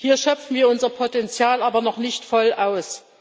Hier schöpfen wir unser Potenzial aber noch nicht voll aus.